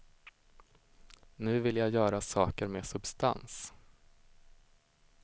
Nu vill jag göra saker med substans.